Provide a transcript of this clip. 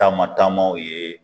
Taama taamaw ye